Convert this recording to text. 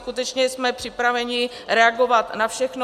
Skutečně jsme připraveni reagovat na všechno.